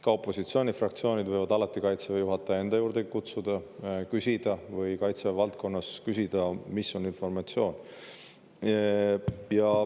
Ka opositsioonifraktsioonid võivad alati Kaitseväe juhataja enda juurde kutsuda ja küsida informatsiooni või Kaitseväe valdkonnas küsida informatsiooni.